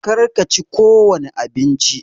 Kar ka chi ko wani abinci!